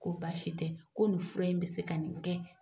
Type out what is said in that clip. Ko basi tɛ ko nin fura in bɛ se ka nin kɛ.